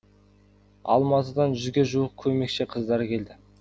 алматыдан жүзге жуық көмекші қыздар келді